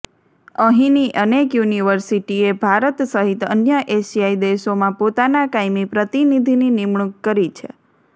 અહીંની અનેક યુનિવર્સિટીએ ભારત સહિત અન્ય એશિયાઈ દેશોમાં પોતાના કાયમી પ્રતિનિધિની નિમણૂક કરી છે